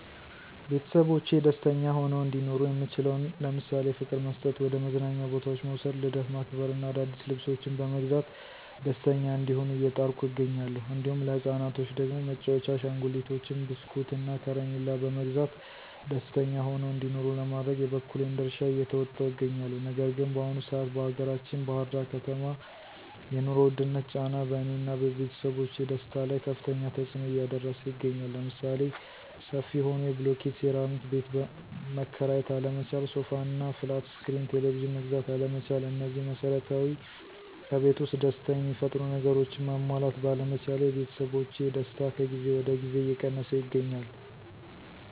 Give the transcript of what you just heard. ቤተሰቦቼ ደስተኛ ሆነው እንዲኖሩ የምችለውን ለምሳሌ፦ ፍቅር መስጠት፣ ወደ መዝናኛ ቦታዎች መዉሰድ፣ ልደት ማክበር እና አዳዲስ ልብሶችን በመግዛት ደስተኛ እንዲሆኑ እየጣርኩ እገኛለሁ። እንዲሁም ለህፃናቶች ደግሞ መጫዎቻ አሸንጉሊቶችን፣ በስኩት፣ እና ከረሚላ በመግዛት ደስተኛ ሆነው እንዲኖሩ ለማድረግ የበኩሌን ድርሻ እየተወጣሁ እገኛለሁ። ነገር ግን በአሁኑ ሰአት በአገራችን ባህር ዳር ከተማ የኑሮ ዉድነት ጫና በእኔ እና ቤተሰቦቼ ደስታ ላይ ከፋተኛ ተፅኖ እያደረሰ ይገኛል። ለምሳሌ፦ ሰፊ ሆኖ የብሎኬት ሴራሚክ ቤት መከራየት አለመቻል፣ ሶፋ እና ፍላት እስክሪን ቴሌቭዥን መግዛት አለመቻል እነዚህ መሰረታዊ ከቤት ዉስጥ ደስታ የሚፈጥሩ ነገሮችን ማሟላት ባለመቻሌ የቤተሰቦቼ ደስታ ከጊዜ ወደ ጊዜ እየቀነሰ ይገኛል።